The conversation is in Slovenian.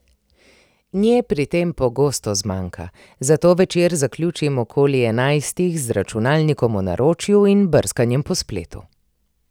Nje pri tem pogosto zmanjka, zato večer zaključim okoli enajstih z računalnikom v naročju in brskanjem po spletu.